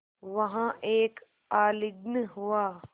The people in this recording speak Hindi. वहाँ एक आलिंगन हुआ